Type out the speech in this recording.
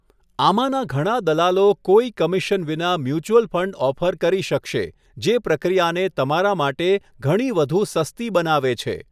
આમાંના ઘણા દલાલો કોઈ કમિશન વિના મ્યુચ્યુઅલ ફંડ ઓફર કરી શકશે, જે પ્રક્રિયાને તમારા માટે ઘણી વધુ સસ્તી બનાવે છે.